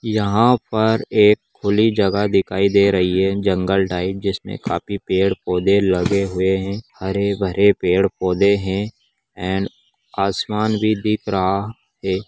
यहाँ पर एक खुली जगह दिखाई दे रही है जंगल टाइप जिसमे काफी पेड़ - पौधे लगे हुए हैं हरे-भरे पेड़-पौधे हैं एण्ड आसमान भी दिख रहा है।